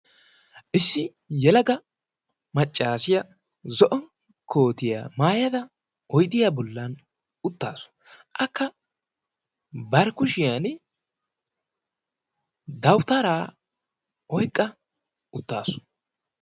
issi yalaga maccaasiya zo'on kootiyaa maayada oydiyaa bullan uttaasu akka barkkushiyan dawutaraa oyqqa uttaasu